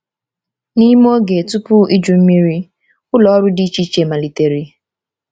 N’ime oge tupu Iju Mmiri, ụlọ ọrụ dị iche iche malitere.